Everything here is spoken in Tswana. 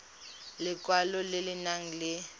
lekwalo le le nang le